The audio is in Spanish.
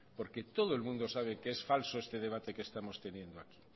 porque todo el mundo sabe que es falso este debate que estamos teniendo aquí